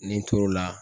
N'i tor'o la